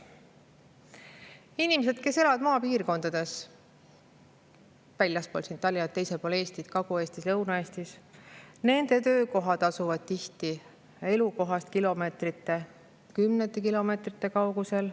Inimesed, kes elavad maapiirkondades väljaspool Tallinna,, näiteks Kagu-Eestis või Lõuna-Eestis – nende töökohad asuvad tihti elukohast kilomeetrite, kümnete kilomeetrite kaugusel.